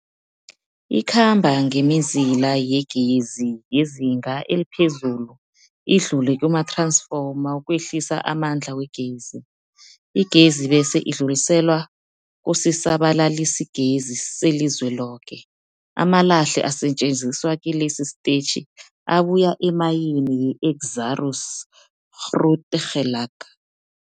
Ikhamba ngemizila yegezi yezinga eliphezulu idlule kumath-ransfoma ukwehlisa amandla wegezi. Igezi bese idluliselwa kusisa-balalisigezi selizweloke. Amalahle asetjenziswa kilesi sitetjhi abuya emayini yeExxaro's Grootegeluk.